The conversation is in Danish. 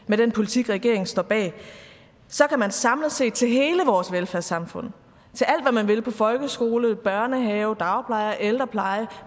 med den politik regeringen står bag så kan man samlet set til hele vores velfærdssamfund til alt hvad man vil på folkeskole børnehave dagpleje ældrepleje